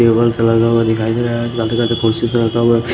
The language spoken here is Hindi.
टेबल सा लगा हुआ दिखाई दे रहा है --